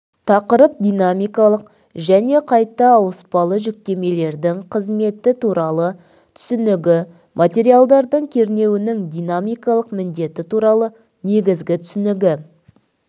тақырып динамикалық және қайта ауыспалы жүктемелердің қызметі туралы түсінігі материалдардың кернеуінің динамикалық міндеті туралы негізгі түсінігі